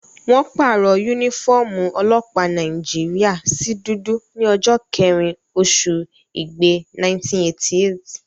Wọ́n pàrọ̀ yúnífọ́ọ̀mù ọlọ́pàá Nàìjíríyà sí dúdú ní ọjọ́ kẹ́rin oṣù igbe, 1988